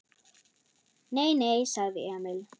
Nei, nei, sagði Emil.